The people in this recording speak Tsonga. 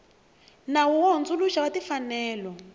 nawu wo hundzuluxa wa timfanelo